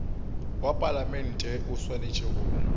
wa palamente o swanetše go